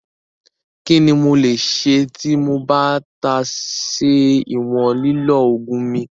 Kíni mo le ṣẹ ti mo bá tà se iwọ̀n lílọ̀ oogun mi?